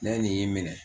Ne ye nin minɛ